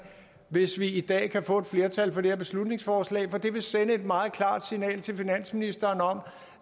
hvis vi i dag kan få et flertal for det her beslutningsforslag for det vil sende et meget klart signal til finansministeren om